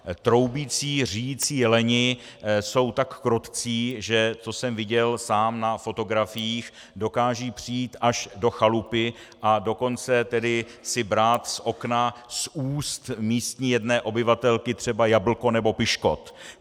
Troubící říjící jeleni jsou tak krotcí, že - to jsem viděl sám na fotografiích - dokážou přijít až do chalupy, a dokonce tedy si brát z okna z úst místní jedné obyvatelky třeba jablko nebo piškot.